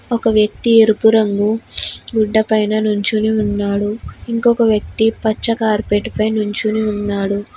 ఒక వ్యక్తి ఎరుపు రంగు దూతపైన నుంచుని ఉన్నాడు ఇంకొక వ్యక్తి పచ్చ కార్పెట్ పైన నించొని ఉన్నాడు.